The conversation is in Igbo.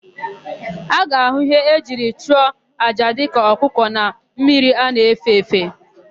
A ga-ahụ íhé e jiri chụọ àjà dịka ọkụkọ na mmiri a na-efe efe.